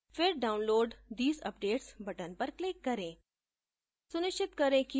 फिर download these updates button पर click करें